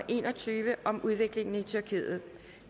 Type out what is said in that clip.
en og tyve